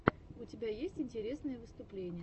у тебя есть интересные выступления